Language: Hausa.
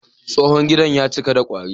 Tsohon gidan ya cika da kwari.